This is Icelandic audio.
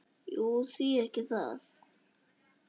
Jú, því ekki það?